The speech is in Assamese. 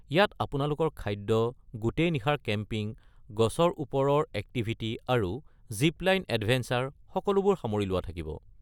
ইয়াত আপোনালোকৰ খাদ্য, গোটেই নিশাৰ কেম্পিং, গছৰ ওপৰৰ এক্টিভিটি আৰু জিপ-লাইন এডভেঞ্চাৰ সকলোবোৰ সামৰি লোৱা থাকিব।